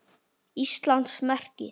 Íslands merki.